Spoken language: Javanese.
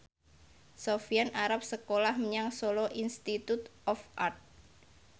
Sofyan arep sekolah menyang Solo Institute of Art